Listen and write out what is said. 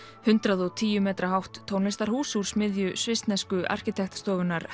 hundrað og tíu metra hátt tónlistarhús úr smiðju svissnesku arkitektastofunnar